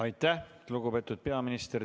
Aitäh, lugupeetud peaminister!